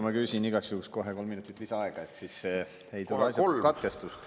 Ma küsin igaks juhuks kohe kolm minutit lisaaega, siis ei tohi olla katkestust.